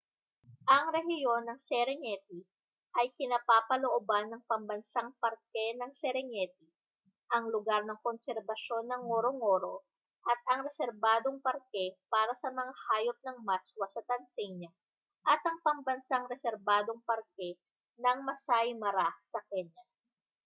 ang rehiyon ng serengeti ay kinapapalooban ng pambansang parke ng serengeti ang lugar ng konserbasyon ng ngorongoro at ang reserbadong parke para sa mga hayop ng maswa sa tanzania at ang pambansang reserbadong parke ng maasai mara sa kenya